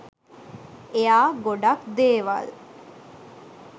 එයා ගොඩක් දේවල්